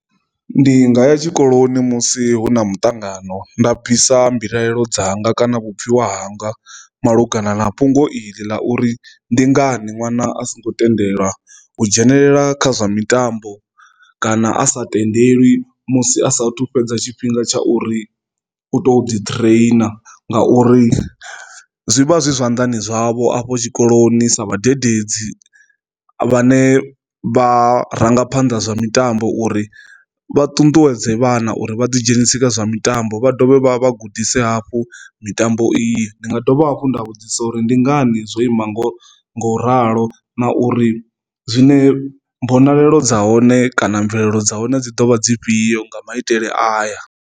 Ndi nga ya tshikoloni musi hu na muṱangano nda bvisa mbilaelo dzanga kana vhupfhiwa hanga malugana na fhungo iḽi ḽa uri ndi ngani ṅwana a songo tendelwa u dzhenelela kha zwa mitambo kana a sa tendelwi musi asathu fhedza tshifhinga tsha uri u to ḓi train, ngauri zwivha zwi zwanḓani zwavho afho tshikoloni sa vhadededzi vhane vharangaphanda zwa mitambo uri vha ṱuṱuwedze vhana uri vha ḓi dzhenise kha zwa mitambo vha dovha vha gudisa hafhu mitambo. Ndi nga dovha hafhu nda vhudzisa uri ndi nga ndi zwo ima ngo ngo ralo na uri zwine mbonalelo dza hone kana mvelelo dza hone dzi dovha dzifhio nga maitele ayo.